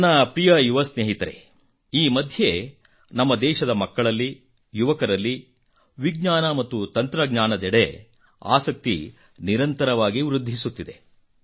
ನನ್ನ ಪ್ರಿಯ ಯುವ ಸ್ನೇಹಿತರೆ ಈ ಮಧ್ಯೆ ನಮ್ಮ ದೇಶದ ಮಕ್ಕಳಲ್ಲಿ ಯುವಕರಲ್ಲಿ ವಿಜ್ಞಾನ ಮತ್ತು ತಂತ್ರಜ್ಞಾನದೆಡೆ ಆಸಕ್ತಿ ನಿರಂತರವಾಗಿ ವೃದ್ಧಿಸುತ್ತಿದೆ